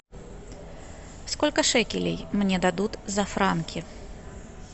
сколько шекелей мне дадут за франки